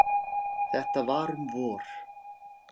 Þetta var um vor.